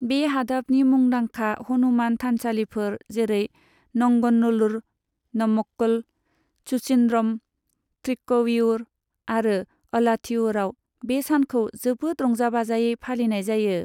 बे हादाबनि मुंदांखा हनुमान थानसालिफोर, जेरै नंगनल्लूर, नमक्कल, सुचिन्द्रम, थ्रिक्कवियुर आरो अलाथीयूराव बे सानखौ जोबोद रंजा बाजायै फालिनाय जायो।